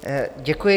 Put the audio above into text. Děkuji.